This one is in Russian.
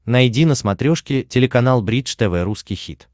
найди на смотрешке телеканал бридж тв русский хит